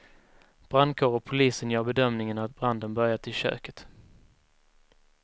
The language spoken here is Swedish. Brandkår och polisen gör bedömningen att branden börjat i köket.